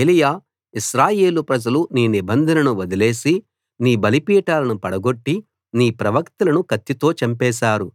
ఏలీయా ఇశ్రాయేలు ప్రజలు నీ నిబంధనను వదిలేసి నీ బలిపీఠాలను పడగొట్టి నీ ప్రవక్తలను కత్తితో చంపేశారు